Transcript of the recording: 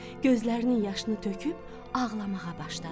Gözlərinin yaşını töküb ağlamağa başladı.